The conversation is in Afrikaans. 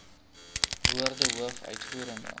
woorde hoof uitvoerende